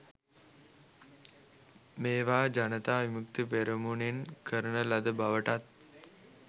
මේවා ජනතා විමුක්ති පෙරමුණෙන් කරන ලද බවටත්